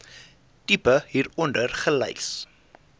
tipe hieronder gelys